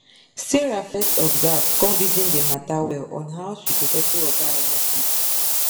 sarah fes observe come reason d matter well on how she go settle oga electric